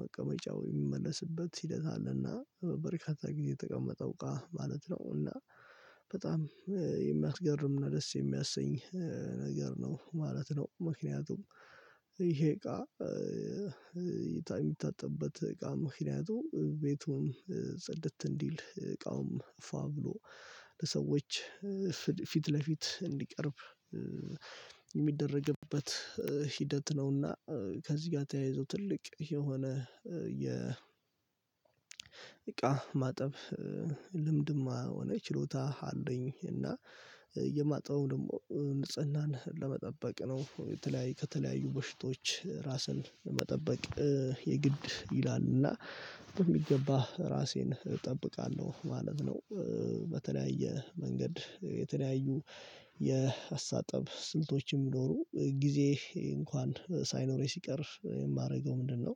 መቀመጫው የሚመለስበት ሂደት አለና በበርካታ ጊዜ የተቀመጠው እቃ ማለት ነው እና በጣም የሚያስገርም እና ደስ የሚያሰኝ ነገር ነው ማለት ነው ምክንያቱም ይሄ እቃ የሚታጠብበት እቃ ምክንያቱ ቤቱን ጽድት እንዲል እቃውም ፏ ብሎ ሰዎች ፊት ለፊት እንዲቀርብ የሚደረግበት ሂደት ነውና ከዚህ ጋር ተያይዞ ትልቅ የሆነ የእቃ ማጠብ ልምድም ሆነ ችሎታ አለኝ እና የማጠበው ደግሞ ንጽህናን ለመጠበቅ ነው ከተለያዩ በሽታዎች ራስን ለመጠበቅ የግድ ይላልና በሚገባ ራሴን እጠብቃለሁ ማለት ነው። በተለያየ መንገድ የተለያዩ የአስተጣጠብ ስልቶች ቢኖሩም ጊዜ እንኳን ሳይኖረኝ ሲቀር የማደርገው ምንድነው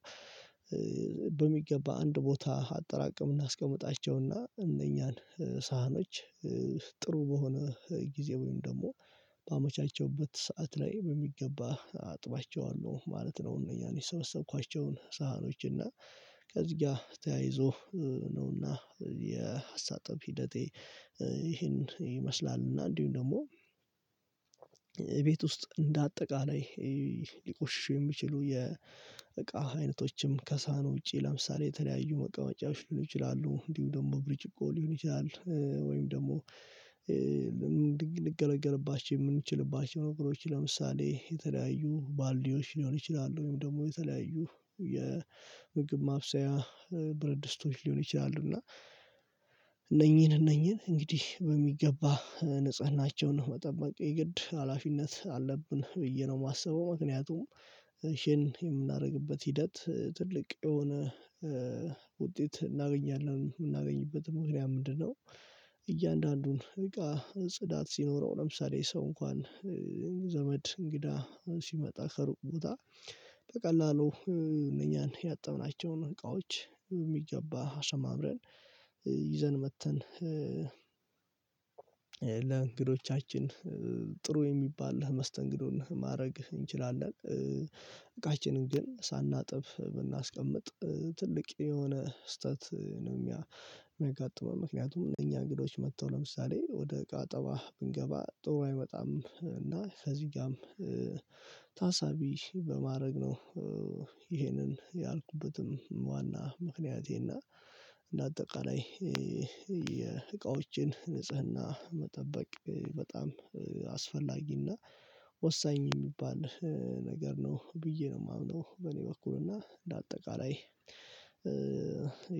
በሚገባ አንድ ቦታ አጠራቀምና አስቀምጣቸውና እነኛን ሳህኖች ጥሩ በሆነ ጊዜ ወይም ደግሞ በአመቻቸሁበት ሰዓት ላይ በሚገባ አጥባቸዋለሁ ማለት ነው፣ እነዚያን የሰበሰብኳቸውን ሳህኖች እና ከዚህ ጋር ተያይዞ ነውና የአስተጣጠብ ሂደቴ ይሄን ይመስላል እና እንዲሁም ደግሞ ቤት ውስጥ እንደ አጠቃላይ ሊቆሽሹ የሚችሉ የእቃ አይነቶችም ከሳህኑ ውጪ ለምሳሌ የተለያዩ መቀመጫዎች ሊሆኑ ይችላሉ እንዲሁ ደግሞ ብርጭቆ ሊሆን ይችላል ወይም ደግሞ ልገለገልባቸው የምንችልባቸው ነገሮች ለምሳሌ የተለያዩ ባልዲዎች ሊሆኑ ይችላሉ ወይም ደግሞ የተለያዩ የምግብ ማብሰያ ብረት ድስቶች ሊሆኑ ይችላሉ እና እነኚህን እነኚህን እንግዲህ በሚገባ ንጽህናቸውን መጠበቅ የግድ ሀላፊነት አለብን ብዬ ነው የማስበው ምክንያቱም ይህን የምናደርግበት ሂደት ትልቅ የሆነ ውጤት እናገኛለን። የምናገኝበት ምክንያት ምንድነው እያንዳንዱን እቃ ጽዳት ሲኖረው ለምሳሌ ሰው እንኳን ዘመድ እንግዳ ሲመጣ ከሩቅ ቦታ በቀላሉ እነኛን ያጠብናቸውን እቃዎች የሚገባ አሰማምረን ይዘን መጥተን ለእንግዶቻችን ጥሩ የሚባል መስተንግዶን ማድረግ እንችላለን። እቃችንን ግን ሳናጥብ ብናስቀምጥ ትልቅ የሆነ ስህተት ነው። የሚያጋጥመው ምክንያቱም እኛ እንግዶች መጥተው ለምሳሌ ወደ እቃ አጠባ ብንገባ ጥሩ አይመጣም እና እዚጋም ታሳቢ በማድረግ ነው። ይሄንን ያልኩበትም ዋና ምክንያቴና እንደ አጠቃላይ የእቃዎችን ንጽህና መጠበቅ በጣም አስፈላጊና ወሳኝ የሚባል ነገር ነው ብዬ ነው የማምነው በእኔ በኩል እና እንደ አጠቃላይ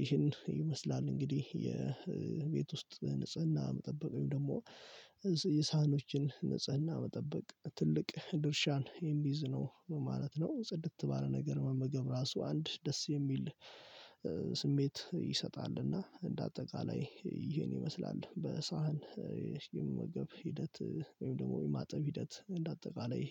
ይህን ይመስላል እንግዲህ የቤት ውስጥ ንጽህና መጠበቅ ወይም ደግሞ የሳህኖችን ንጽህና መጠበቅ ትልቅ ድርሻን የሚይዝ ነው ማለት ነው። ጽድት ባለ ነገር መመገብ ራሱ አንድ ደስ የሚል ስሜት ይሰጣልና እንደ አጠቃላይ ይሄን ይመስላል። በሳህን የመመገብ ሂደት ወይም ደግሞ የማጠብ ሂደት እንደ አጠቃላይ